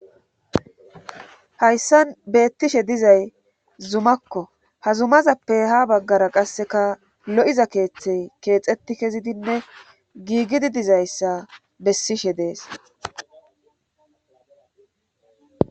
Hayssan beettishe dizay zumakko ha zumazappe ha baggara qasseka lo7iza keeththey keexetti kezidinne giigidi dizayssa bessishe dees.